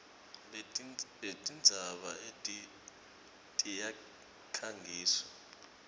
letintsaba eti tiyakhangiswa